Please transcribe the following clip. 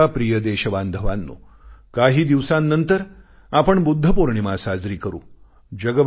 माझ्या प्रिय देशबांधवांनो काही दिवसांनंतर आपण बुद्ध पौर्णिमा साजरी करू